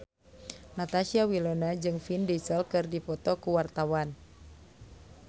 Natasha Wilona jeung Vin Diesel keur dipoto ku wartawan